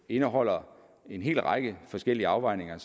indeholder en hel række forskellige afvejninger